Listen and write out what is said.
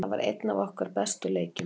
Þetta var einn af okkar bestu leikjum.